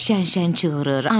Şən-şən cığırır.